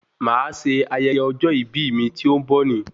Màá se ayẹyẹ ọjọ́ ìbí mi tí ó ń bọ̀ ní